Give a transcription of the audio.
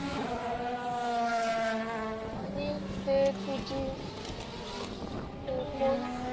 आनी ते तुझी ते कोण